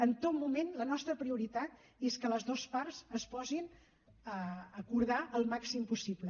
en tot moment la nostra prioritat és que les dues parts es posin a acordar el màxim possible